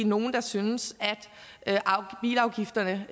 nogle synes at bilafgifterne